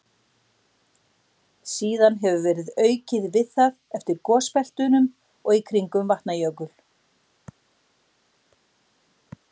Síðan hefur verið aukið við það eftir gosbeltunum og í kringum Vatnajökul.